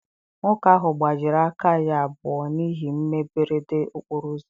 Nwoke ahụ gbajiri aka ya abụọ na ihe mberede okporo ụzọ.